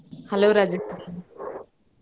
Hello Rajalakshmi.